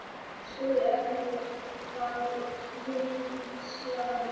spurði Emil og var nú hneykslaður.